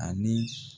Ani